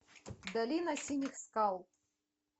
долина синих скал